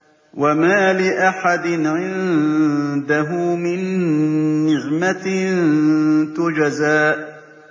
وَمَا لِأَحَدٍ عِندَهُ مِن نِّعْمَةٍ تُجْزَىٰ